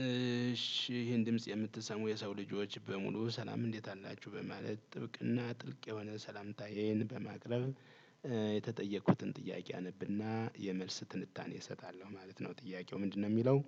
እሺ ይሄን ድምጽ የምትሰሙ የሰው ልጆች በሙሉ ሰላም እንዴት አላችሁ በማለት ጥብቅና ጥልቅ የሆነ ሰላምታዬን በማቅረብ። የተጠየቁትን ጥያቄ አነብና የመልስ ትንታኔ እሰጣለሁ ማለት ነው ጥያቄው ምንድነው የሚለው?